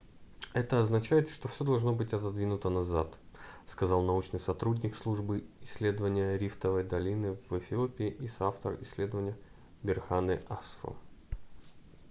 это означает что всё должно быть отодвинуто назад - сказал научный сотрудник службы исследования рифтовой долины в эфиопии и соавтор исследования берхане асфо